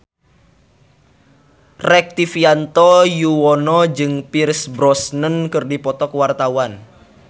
Rektivianto Yoewono jeung Pierce Brosnan keur dipoto ku wartawan